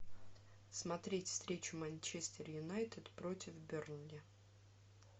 смотреть встречу манчестер юнайтед против бернли